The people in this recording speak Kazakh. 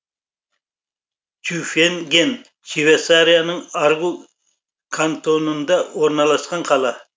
тюфинген швейцарияның аргул кантонында орналасқан қала